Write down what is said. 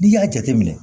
N'i y'a jateminɛ